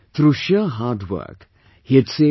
Rajendra ji is a farmer from Satna village in Nasik